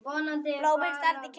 Blómin standa í klasa.